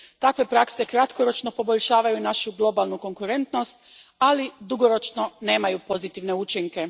Takve prakse kratkoročno poboljšavaju našu globalnu konkurentnost, ali dugoročno nemaju pozitivne učinke.